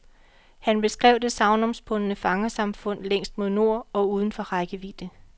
Han beskrev det sagnomspundne fangersamfund længst mod nord og uden for rækkevidde.